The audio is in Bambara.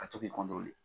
A to k'i